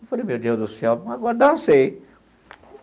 Eu falei, meu Deus do céu, agora dancei.